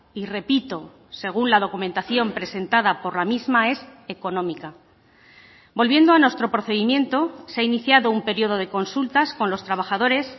y repito según la documentación presentada por la misma es económica volviendo a nuestro procedimiento se ha iniciado un periodo de consultas con los trabajadores